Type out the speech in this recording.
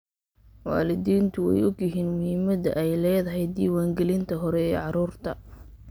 Waalidiintu way ogyihiin muhiimadda ay leedahay diiwaangelinta hore ee carruurta.